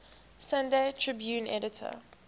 sunday tribune editor